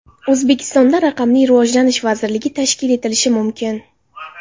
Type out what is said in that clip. O‘zbekistonda raqamli rivojlanish vazirligi tashkil etilishi mumkin.